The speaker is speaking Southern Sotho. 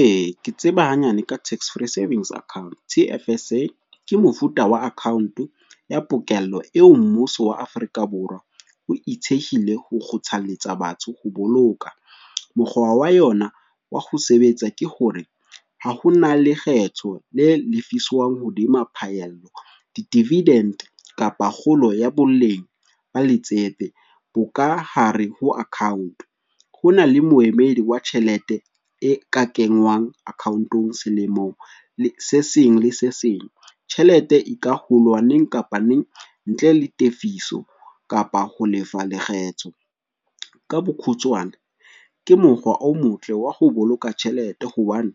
E, ke tseba hanyane ka tax free savings account. T_F_S_A ke mofuta wa account ya pokello eo mmuso wa Afrika Borwa o e thehile ho kgothaletsa batho ho boloka. Mokgwa wa yona wa ho sebetsa ke hore, ha hona lekgetho le lefiswang hodima phaello, di-dividend kapa kgolo ya boleng ba letsepe bo ka hare ho account. Ho na le moemedi wa tjhelete e ka kenngwang account-ong selemo se seng le se seng, tjhelete e ka hulwa neng kapa neng ntle le tefiso kapa ho lefa lekgetho. Ka bokhutswane ke mokgwa o motle wa ho boloka tjhelete hobane